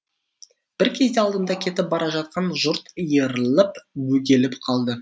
бір кезде алдымда кетіп бара жатқан жұрт иіріліп бөгеліп қалды